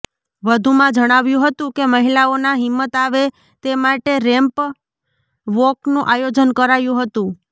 વધુમાં જણાવ્યું હતું કે મહીલાઓના હિંમત આવે તે માટે રેમ્પ વોકનું આયોજન કરાયું હતું